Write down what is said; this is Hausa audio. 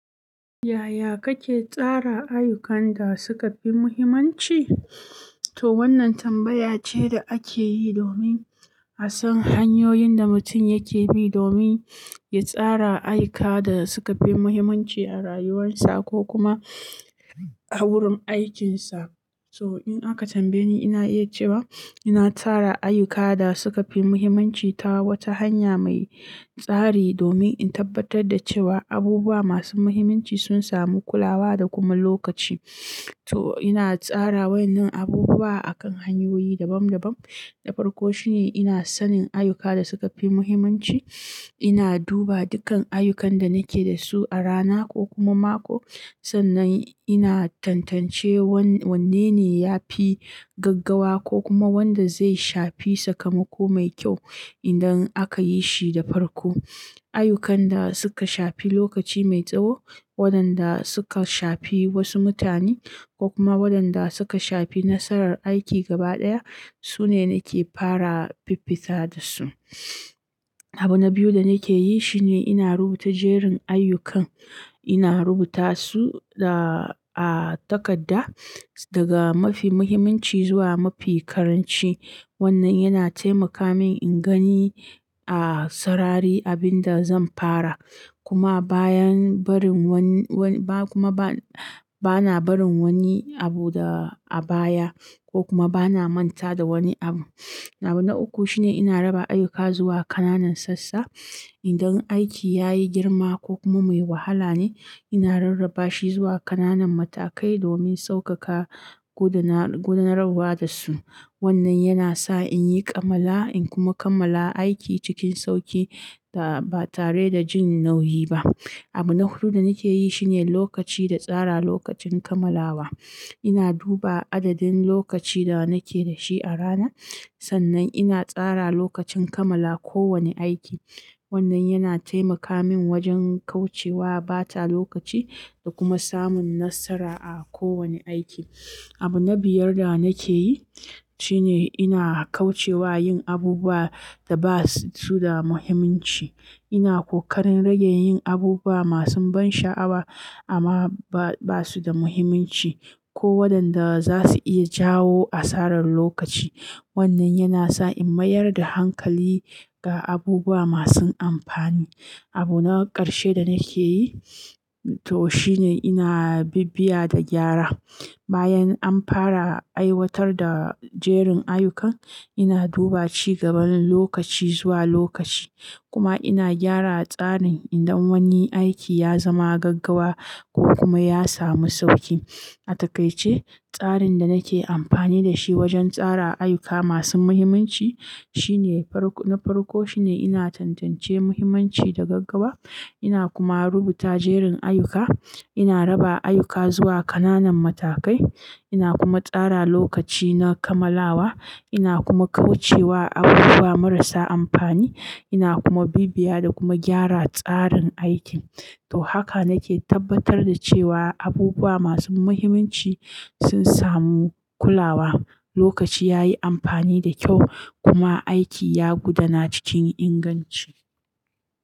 Yaya kake tsara ayyukan da suka fi muhimmanci? To wannan tambaya ce da ake yi domin a san hanyoyin da mutum yake bi domin ya tsara ayyuka da suka fi muhimmanci a rayuwarsa ko kuma a wurin aikinsa. To in aka tambaye ni, ina iya cewa ina tara ayyuka da suka fi muhimmanci ta wata hanya mai tsari domin in tabbatar da cewa abubuwa masu muhimmanci sun samu kulawa da kuma lokaci. To ina tsara wa'yannan abubuwa a kan hanyoyi dabam-dabam. Na farko shine ina sanin ayyuka da suka fi muhimmanci. Ina duba dukkan ayyukan da nake da su a rana ko kuma mako, sannan ina tantance wanne ne ya fi gaggawa ko kuma wanda zai shafi sakamako mai kyau idan aka yi shi da farko. Ayyukan da suka shafi lokaci mai tsawo, wadanda suka shafi wasu mutane ko kuma wadanda suka shafi nasarar aiki gaba ɗaya su ne nake fara fiffita da su. Abu na biyu da nake yi shine ina rubuta jerin ayyukan. Ina rubuta su da a takadda daga mafi mahimmanci zuwa mafi karanci. Wannan yana taimaka min in gani a sarari abin da zan fara kuma a bayan barin wan- wan- ba kuma ba bana barin wani abu da a baya ko kuma bana manta da wani abu. Abu na uku shine ina raba ayyuka zuwa kananan sassa. Indan aiki ya yi girma ko kuma mai wahala ne, ina rarraba shi zuwa kananan matakai domin saukaka gudana- gudanarwa da su. Wannan yana sa in yi ƙamala in kuma kammala aiki cikin sauki da ba tare da jin nauyi ba. Abu na hudu da nake yi shine lokaci da tsara lokacin kammalawa. Ina duba adadin lokaci da nake da shi a rana sannan ina tsara lokacin kammala kowane aiki. Wannan yana taimaka min wajen kauce wa bata lokaci da kuma samun nasara a kowane aiki. Abu na biyar da nake yi shine ina kauce wa yin abubuwa da ba su da muhimminci. Ina kokarin rage yin abubuwa masu ban sha'awa ama ba ba su da muhimminci ko wadanda za su iya jawo asarar lokaci. Wannan yana sa in mayar da hankali ga abubuwa masu amfani. Abu na ƙarshe da nake yi to shine ina bibbiya da gyara. Bayan an fara aiwatar da jerin ayyukan, ina duba ci gaban lokaci zuwa lokaci kuma ina gyara tsarin indan wani aiki ya zama gaggawa ko kuma ya samu sauki. A takaice, tsarin da nake amfani da shi wajen tsara ayyuka masu mahimminci shine farko-- na farko shine ina tantance muhimmanci da gaggawa. Ina kuma rubuta jerin ayyuka. Ina raba ayyuka zuwa ƙananan matakai. Ina kuma tsara lokaci na kammalawa. Ina kuma kauce wa abubuwa marasa amfani. Ina kuma bibbiya da kuma gyara tsarin aikin. To haka nake tabbatar da cewa abubuwa masu muhimmanci sun samu kulawa, lokaci ya yi amfani da kyau kuma aiki ya gudana cikin inganci.